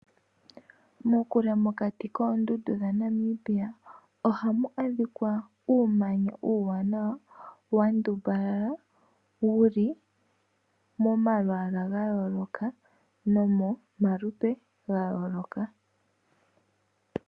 Kokule mokati koondundu dhaNamibia ohamu adhika uumanya uuwanawa wandumbala wuli momalwaala gayooloka nomomalupe gayooloka.